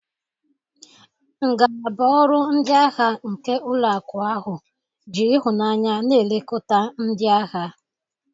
Ngalaba ọrụ ndị ahịa nke ụlọ akụ ahụ ji ịhụnanya na-elekota ndị ahịa.